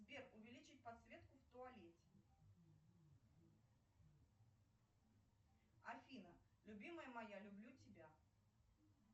сбер увеличить подсветку в туалете афина любимая моя люблю тебя